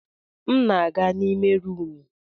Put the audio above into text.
M na-aga n'ime rumụ.